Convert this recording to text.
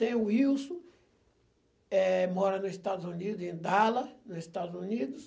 Tem o Wilson, eh, mora nos Estados Unidos, em Dallas, nos Estados Unidos.